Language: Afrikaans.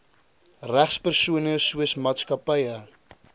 regspersone soos maatskappye